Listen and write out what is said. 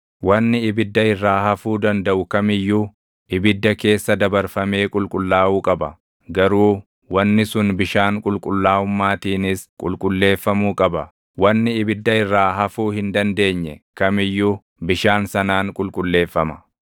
wanni ibidda irraa hafuu dandaʼu kam iyyuu ibidda keessa dabarfamee qulqullaaʼuu qaba. Garuu wanni sun bishaan qulqullaaʼummaatiinis qulqulleeffamuu qaba. Wanni ibidda irra hafuu hin dandeenye kam iyyuu bishaan sanaan qulqulleeffama.